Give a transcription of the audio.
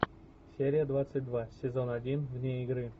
серия двадцать два сезон один вне игры